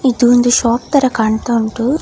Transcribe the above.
ಇದು ಒಂದು ಫಾಗ್ ತರಹ ಕಾಣ್ತಾ ಉಂಟು.